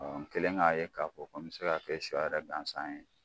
Ɔ n kɛlen k'a ye k'a fɔ ko n bɛ se k'a kɛ sɔ yɛrɛ gansan ye.